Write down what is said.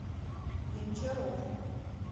гончаров